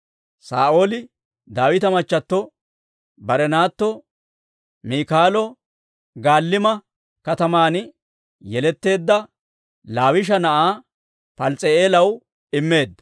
Saa'ooli Daawita machchato, bare naatto Miikaalo Galliima kataman yeletteedda Laawisha na'aa Pals's'i'eelaw immeedda.